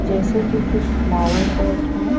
जैसे की कुछ फ्लावर पॉट है।